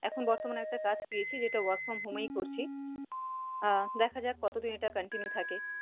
এখন বর্তমানে একটা কাজ পেয়েছি, যেটা workfromhome এই করছি। আহ দেখা যাক কতদিন এটা continue থাকে।